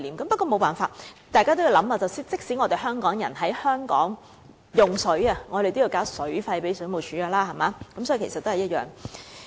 不過，這也沒有辦法，因為大家也要想想，即使香港人在香港用水，也要向水務署繳交水費，道理其實都是一樣。